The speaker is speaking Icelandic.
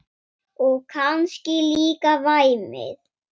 Og kannski líka væmið.